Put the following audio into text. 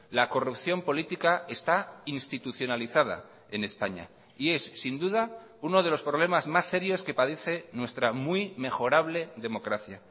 la corrupción política está institucionalizada en españa y es sin duda uno de los problemas más serios que padece nuestra muy mejorable democracia